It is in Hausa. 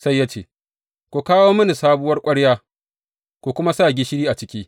Sai ya ce, Ku kawo mini sabuwar ƙwarya, ku kuma sa gishiri a ciki.